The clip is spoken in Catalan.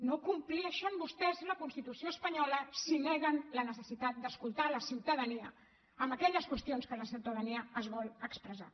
no compleixen vostès la constitució espanyola si neguen la necessitat d’escoltar la ciutadania en aquelles qüestions en què la ciutadania es vol expressar